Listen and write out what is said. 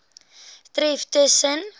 tref tus sen